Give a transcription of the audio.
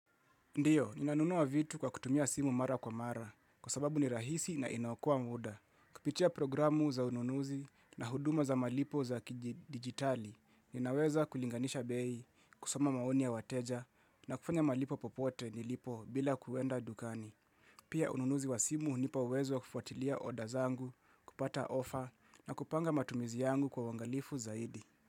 Ndiyo, ninanunua vitu kwa kutumia simu mara kwa mara, kwa sababu ni rahisi na inaokua muda. Kupitia programu za ununuzi na huduma za malipo za kijidigitali, ninaweza kulinganisha bei, kusoma maoni ya wateja, na kufanya malipo popote nilipo bila kuenda dukani. Pia ununuzi wa simu nipa uwezo kufuatilia odazangu, kupata offer, na kupanga matumizi yangu kwa wangalifu zaidi.